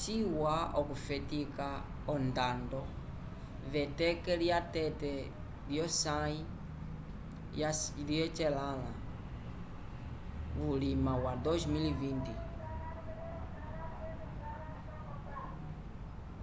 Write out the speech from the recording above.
ciwa okufetika ondando v'eteke lya tete lyosãyi lyecelãla vuliwa wa 2020